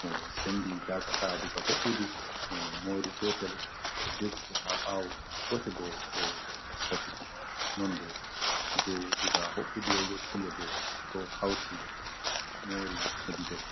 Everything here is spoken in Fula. mo sendi gasa ka daga ho’ɓudu mo mori gotel ɗo dirti ha ɓawo, gotel bo ɗo safiti, non bo je daga ho’ɓudu yahugo tinde bo ɗo hauti mori hedi dou.